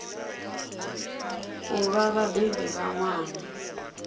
u vha vhabebi vha ṅwana